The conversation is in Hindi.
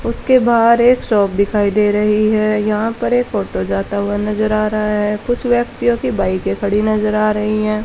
उसके बाहर एक शॉप दिखाई दे रही है यहां पर एक ऑटो जाता हुआ नजर आ रहा है कुछ व्यक्तियों की बाइकें खड़ी नजर आ रही हैं।